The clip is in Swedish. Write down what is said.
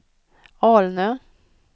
Alnö